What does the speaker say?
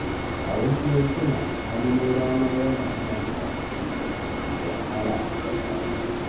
A wasu yankuna, tsananin rana yana hana mutane yin aiki mai wahala da rana.